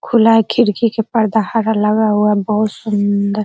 खुला है खिड़की के पर्दा हरा लगा हुआ बहुत सुन्दर।